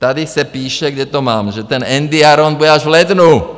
Tady se píše, kde to mám, že ten Endiaron bude až v lednu!